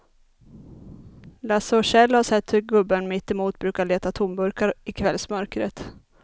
Lasse och Kjell har sett hur gubben mittemot brukar leta tomburkar i kvällsmörkret.